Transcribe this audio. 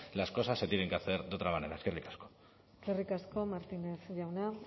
las cosas se tienen que hacer de otra manera eskerrik asko eskerrik asko martínez jauna